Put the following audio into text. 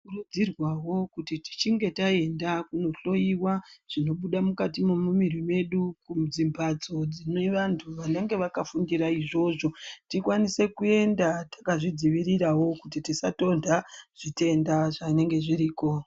Tinokurudzirwawo kuti tichinge taenda kundohloyiwa zvinobuda mukati mwemumiri dzedu kudzimhatso dzinenge dzakafundira izvozvo tikwanise kuenda takazvidzivirirawo kuti tisatonha zvitenda zvinege zviriko.